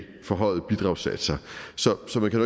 forhøjede bidragssatser så så man kan